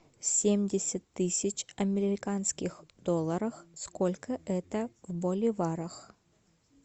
семьдесят тысяч американских долларах сколько это в боливарах